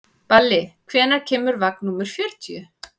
Balli, hvenær kemur vagn númer fjörutíu?